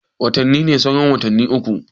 Watani ne sauran watanni uku